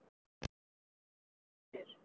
Þeir dóu þó út mun fyrr.